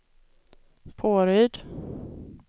Påryd